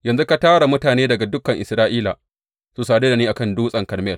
Yanzu ka tara mutane daga dukan Isra’ila su sadu da ni a kan Dutsen Karmel.